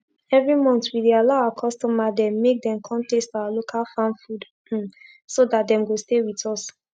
everi month we dey allow our customer dem make dem kon taste our local farm food um so dat dem go stay with us